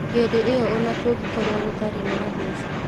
Hĩndĩ ĩyo ona kũngĩkorwo gũtarĩ na mbeca